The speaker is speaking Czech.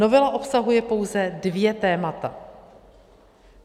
Novela obsahuje pouze dvě témata.